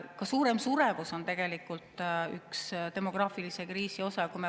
Ka suurem suremus on tegelikult üks demograafilise kriisi osa.